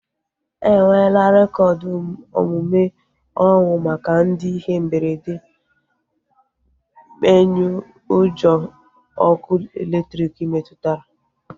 Enwela rekoodu omume ọnwụ maka ndị ihe mberede mmenyeujọ ọkụ elektriki metụtara